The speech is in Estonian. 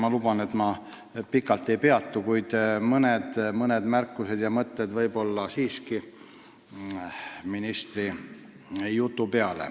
Ma luban, et ma pikalt ei kõnele, kuid ministri jutu peale mõned märkused ja mõtted siiski.